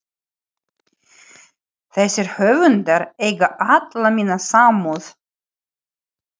Þessir höfundar eiga alla mína samúð.